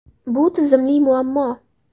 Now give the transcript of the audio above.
Bu tizimli muammo.